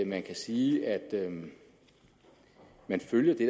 man kan sige at man følger det